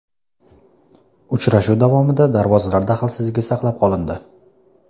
Uchrashuv davomida darvozalar daxlsizligi saqlanib qolindi.